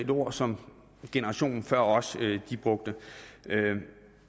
ord som generationen før os brugte